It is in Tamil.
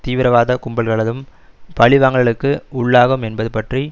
தீவிரவாத கும்பல்களதும் பலிவாங்கல்களுக்கு உள்ளாகும் என்பது பற்றி